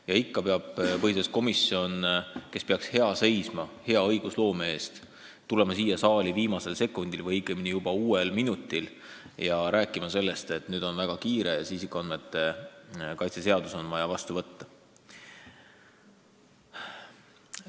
Ja ikka tuleb põhiseaduskomisjon, kes peaks hea õigusloome eest seisma, siia saali viimasel sekundil, õigemini juba uuel minutil ja hakkab rääkima sellest, et nüüd on väga kiire, isikuandmete kaitse seadus on vaja vastu võtta.